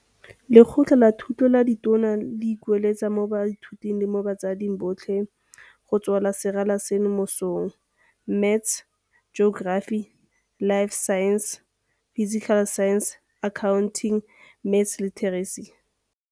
Lekgotla la Thuto la Ditona le ikuetse mo baithuting le mo batsading botlhe go swela serala seno mosola. Maths Geography Life Sciences Physical Sciences Accounting Maths Literacy.